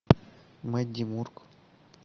мэдди мурк